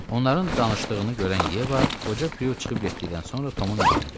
Onların danışdığını görən Yeva, qoca Prue çıxıb getdikdən sonra Tomun yanına gəldi.